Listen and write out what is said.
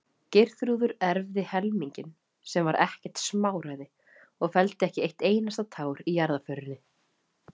Geirþrúður erfði helminginn, sem var ekkert smáræði, og felldi ekki eitt einasta tár í jarðarförinni.